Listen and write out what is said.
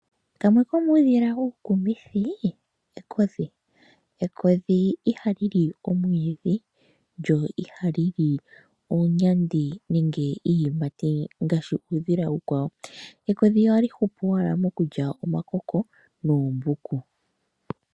Kamwe komuudhila uukumithi ekodhi. Ekodhi ihali li omwiidhi lyo ihali li oonyandi nenge iiyimati ngaashi uudhila uukwawo. Ekodhi ohali hupu owala mokulya omakoko noombuku.